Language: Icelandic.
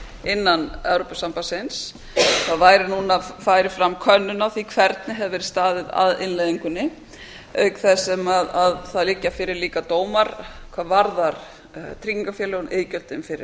innan evrópusambandsins það væri núna færi fram könnun á því hvernig hefði verið staðið að innleiðingunni auk þess sem það liggja fyrir líka dómar hvað varðar tryggingafélögin og iðgjöldin fyrir